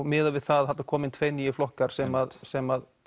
miðað við það að þarna koma inn tveir nýir flokkar sem sem